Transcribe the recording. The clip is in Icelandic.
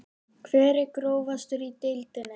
Hver er grófastur í deildinni?